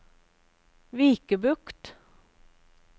Vikebukt